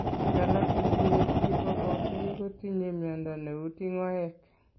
Biik alak chetinye BOOP kotinye mnyondo neuu tingoek